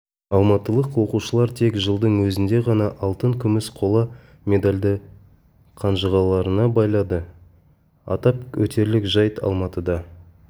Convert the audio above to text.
алматылық оқушылар тек жылдың өзінде ғана алтын күміс қола медальді қанжығаларына байлады атап өтерлік жайт алматыда